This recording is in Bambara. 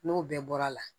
N'o bɛɛ bɔra la